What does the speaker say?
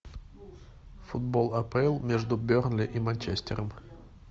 футбол апл между бернли и манчестером